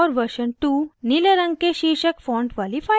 और version two नीले रंग के शीर्षक font वाली file है